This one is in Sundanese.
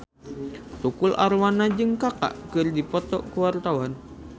Tukul Arwana jeung Kaka keur dipoto ku wartawan